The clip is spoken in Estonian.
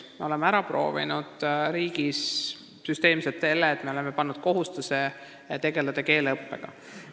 Me oleme riigis süsteemselt ära proovinud selle, et me oleme pannud asutustele kohustuse tegeleda keeleõppega.